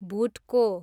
भुटको